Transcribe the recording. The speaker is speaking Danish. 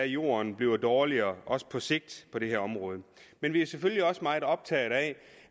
jorden bliver dårligere også på sigt på det her område men vi er selvfølgelig også meget optaget af